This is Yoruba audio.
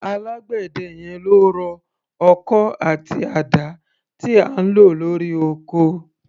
Alágbẹ̀dẹ yẹn ló rọ ọkọ́ àti àdá tí à ń lò lórí oko.